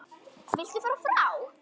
Viltu fara frá!